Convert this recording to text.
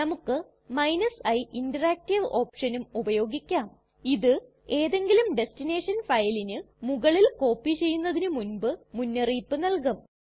നമുക്ക് i interactive ഓപ്ഷനും ഉപയോഗിക്കാം ഇത് ഏതെങ്കിലും ടെസ്ടിനെഷൻ ഫയലിന് മുകളിൽ കോപ്പി ചെയ്യുന്നതിന് മുൻപ് മുന്നറിയിപ്പ് നല്കും